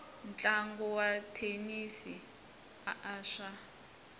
ntlangu wa thenisi a swa